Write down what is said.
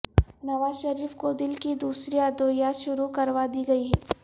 نوازشریف کو دل کی دوسری ادویات شروع کروا دی گئیں